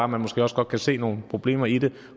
man måske også godt kan se nogle problemer i det